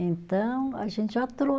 Então, a gente já